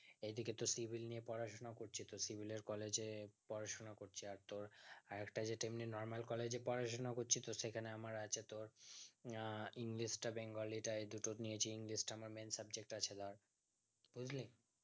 এইদিকে তোর civil নিয়ে পড়াশোনা করছি তো civil এর collage এ পড়াশোনা করছি আর তোর আর একটা যেটা এমনি normal collage এ পড়াশোনা করছি তো সেখানে আমার আছে তোর আহ english টা bengali টা এই দুটো নিয়েছি english তা আমার main subject আছে লা বুঝলি